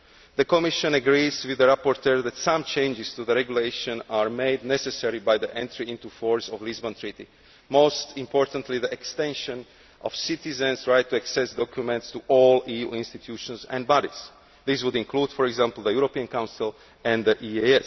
The Commission agrees with the rapporteur that some changes to the regulation are made necessary by the entry into force of the Lisbon Treaty, most importantly the extension of the citizen's right to access the documents of all EU institutions and bodies. This would include, for example, the European Council and the